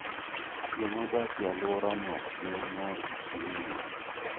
Jomodak e alworano ne mor gi chiwoneno.